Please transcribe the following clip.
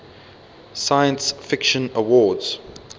science fiction awards